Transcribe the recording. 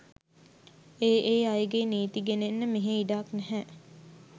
ඒ ඒ අයගේ නීති ගෙනෙන්න මෙහෙ ඉඩක් නැහැ